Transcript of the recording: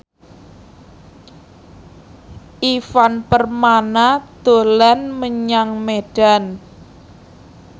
Ivan Permana dolan menyang Medan